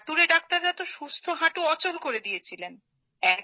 হাতুড়ে ডাক্তাররা তো সুস্থ হাঁটু অচল করে দিয়েছিলেন